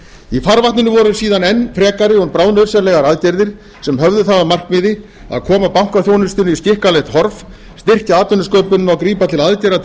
í farvatninu voru síðan enn frekari og bráðnauðsynlegar aðgerðir sem höfðu það að markmiði að koma bankaþjónustunni í skikkanlegt horf styrkja atvinnusköpunina og grípa til aðgerða til